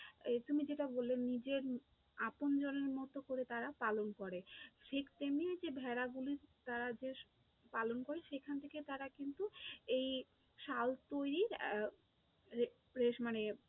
এই তুমি যেটা বললে যে আপনজনের মতো করে তারা পালন করে, ঠিক তেমনি যে ভেড়া গুলি তারা যে পালন করে সেখান থেকে তারা কিন্তু এই শাল তৈরির মানে